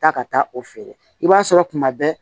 Taa ka taa o feere i b'a sɔrɔ tuma bɛɛ